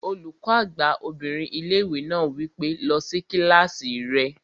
Olùkọ́ àgbà obìnrin ilé-ìwé náà wí pé, "lọ sí kílásì rẹ!"